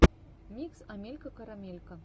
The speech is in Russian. микс амелька карамелька